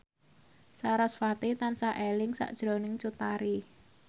sarasvati tansah eling sakjroning Cut Tari